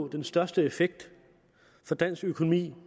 den største effekt for dansk økonomi